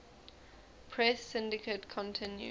press syndicate continued